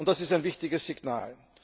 Das ist ein wichtiges Signal.